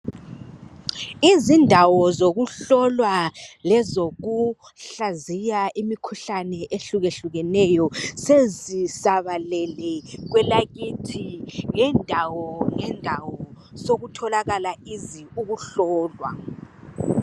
Izindawo zokuhlolwa lezokuhlaziya imikhuhlane ehlukahlukeneyo sezisabalele kwelakithi ngendawo ngendawo sokutholakala ukuhlolwa.